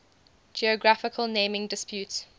geographical naming disputes